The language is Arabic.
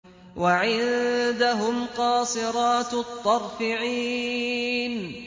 وَعِندَهُمْ قَاصِرَاتُ الطَّرْفِ عِينٌ